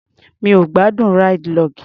Mi ò gbádùn ráìdì log.